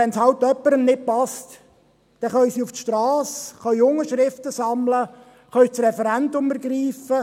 Wenn es halt jemandem nicht passt, dann können sie auf die Strasse gehen, sie können Unterschriften sammeln und das Referendum ergreifen.